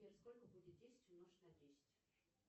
сбер сколько будет десять умножить на десять